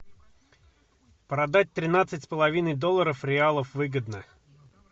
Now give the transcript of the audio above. продать тринадцать с половиной долларов реалов выгодно